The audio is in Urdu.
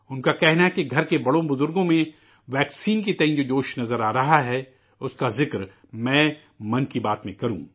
ان کا کہنا ہے کہ گھر کے بڑے بزرگوں میں ویکسین کے بارے میں جو جوش نظر آ رہا ہے ، اس کا ذکر میں 'من کی بات' میں کروں